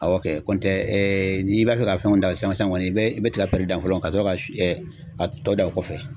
Awɔ n'i b'a fɛ ka fɛnw da san kɔni i bɛ i bɛ tika dan fɔlɔ ka sɔrɔ ka a tɔ dan o kɔfɛ.